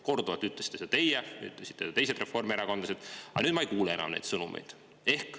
Korduvalt ütlesite seda teie, seda ütlesid teised reformierakondlased, aga nüüd ma ei kuule enam neid sõnumeid.